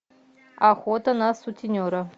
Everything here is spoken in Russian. охота на сутенера